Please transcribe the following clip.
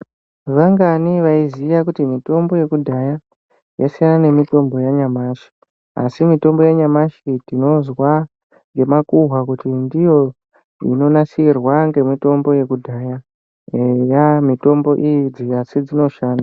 Vangani vaiziya kuti mitombo yekudhaya yasiyana nemitombo yanyamashi asi mitombo yanyamashi tinozwa ngemakuhwa kuti ndiyo inonasirwa ngemitombo yekudhaya eya mitombo idzi asi dzinoshanda.